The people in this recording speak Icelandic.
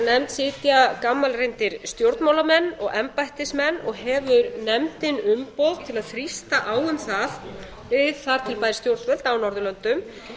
nefnd sitja gamalreyndir stjórnmálamenn og embættismenn og hefur nefndin umboð til að þrýsta á um það við þar til bær stjórnvöld á norðurlöndum